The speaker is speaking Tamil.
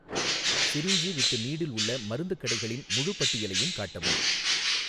சிரிஞ்சு வித் நீடில் உள்ள மருந்துக் கடைகளின் முழுப் பட்டியலையும் காட்டவும்